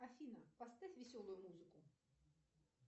афина поставь веселую музыку